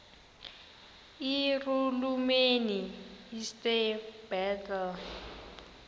irhuluneli usir bartle